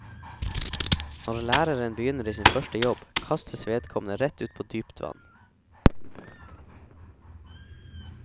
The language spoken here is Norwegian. Når læreren begynner i sin første jobb, kastes vedkommende rett ut på dypt vann.